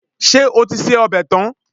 Ṣé o ti se ọbẹ̀ tán?